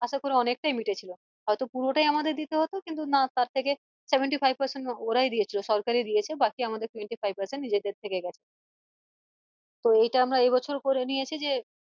আশা করি অনেকটাই মিটেছিলো হয়তো পুরোটাই আমাদের দিতে হতো কিন্তু না তার থেকে seventy-five percent ওরাই দিয়েছল সরকারি দিয়েছে বাকি আমাদের seventy-five percent নিজেদের থেকে গেছে তো এইটা আমরা এই বছর করে নিয়েছি যে